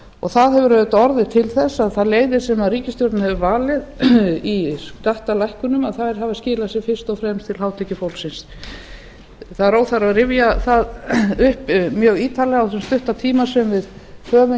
að það hefur auðvitað orðið til þess að þær leiðir sem ríkisstjórnin hefur valið í skattalækkunum hafa skilað sér fyrst og fram til hátekjufólksins það er óþarfi að rifja það upp mjög ítarlega á þessum stutta tíma sem við höfum